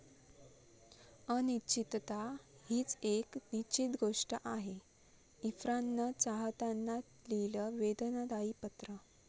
अनिश्चितता हीच एक निश्चित गोष्ट आहे, इरफाननं चाहत्यांना लिहिलं वेदनादायी पत्र